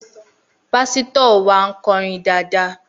Pásítọ̀ wa ń kọrin dáadáa